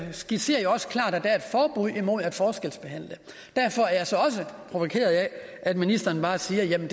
skitserer jo også klart at der er et forbud imod at forskelsbehandle derfor er jeg så også provokeret af at ministeren bare siger at jamen